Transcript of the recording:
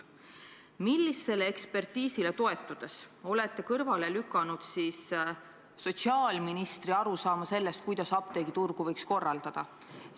Millisele ekspertiisile toetudes te olete kõrvale lükanud sotsiaalministri arusaama sellest, kuidas apteegiturgu võiks korraldada?